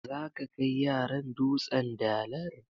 Zaka kaai yaran "dutsen dalar"?